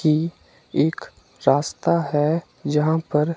कि एक रास्ता है यहां पर--